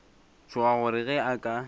tšhoga gore ge a ka